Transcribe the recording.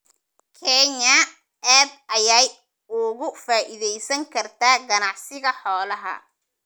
Kenya aad ayay uga faa'iidaysan kartaa ganacsiga xoolaha.